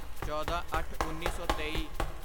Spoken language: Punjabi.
ਚੌਦਾਂਅੱਠਉੱਨੀ ਸੌ ਤੇਈ